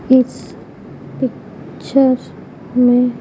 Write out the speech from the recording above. इस पिक्चर में--